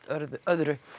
öðru